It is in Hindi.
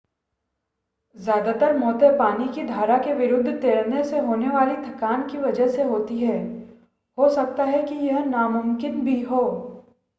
ज़्यादातर मौतें पानी की धारा के विरुद्ध तैरने से होने वाली थकान की वजह से होती हैं हो सकता है कि यह नामुमकिन भी हो